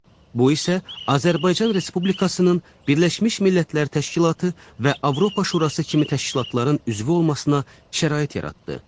Bu isə Azərbaycan Respublikasının Birləşmiş Millətlər Təşkilatı və Avropa Şurası kimi təşkilatların üzvü olmasına şərait yaratdı.